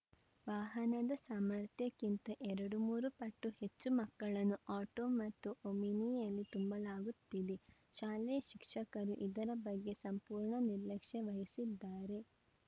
ವಾಹನದ ಸಾಮರ್ಥ್ಯಕ್ಕಿಂತ ಎರಡು ಮೂರು ಪಟ್ಟು ಹೆಚ್ಚು ಮಕ್ಕಳನ್ನು ಆಟೋ ಮತ್ತು ಒಮಿನಿಯಲ್ಲಿ ತುಂಬಲಾಗುತ್ತಿದೆ ಶಾಲೆಯ ಶಿಕ್ಷಕರು ಇದರ ಬಗ್ಗೆ ಸಂಪೂರ್ಣ ನಿರ್ಲಕ್ಷ್ಯ ವಹಿಸಿದ್ದಾರೆ